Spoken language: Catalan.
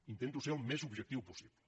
intento ser el més objectiu possible